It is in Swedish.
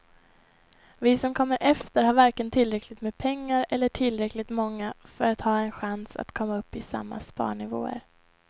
Vi som kommer efter har varken tillräckligt med pengar eller är tillräckligt många för att ha en chans att komma upp i samma sparnivåer.